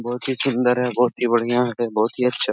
बहुत ही सुन्दर है बहुत ही बढ़िया है बहुत ही अच्छा --